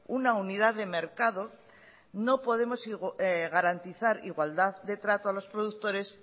una unidad de mercado no podemos garantizar igualdad de trato a los productores